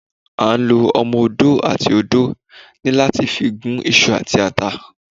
À ń lọ omọ-òdó atí òdó ní láti fi gún iṣu àti àtá